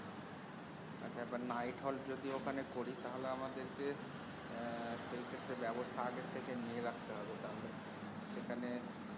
আচ্ছা আবার night halt যদি ঐখানে করি তাহলে আমাদেরকে আহ সেই ক্ষেত্রে বাবস্থা আগের থেকে নিয়ে রাখতে হবে তাহলে। সেখানে